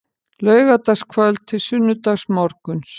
Laugardagskvöld til sunnudagsmorguns